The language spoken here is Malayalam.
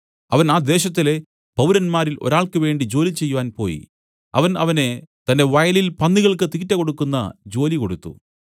അവൻ ആ ദേശത്തിലെ പൗരന്മാരിൽ ഒരാൾക്ക് വേണ്ടി ജോലി ചെയ്യാൻ പോയി അവൻ അവനെ തന്റെ വയലിൽ പന്നികൾക്ക് തീറ്റ കൊടുക്കുന്ന ജോലി കൊടുത്തു